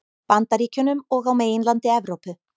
Bandaríkjunum og á meginlandi Evrópu.